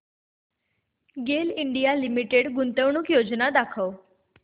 गेल India Limited गुंतवणूक योजना दाखव